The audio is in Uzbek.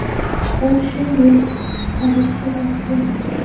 U shu yil chiqarilishi mumkin.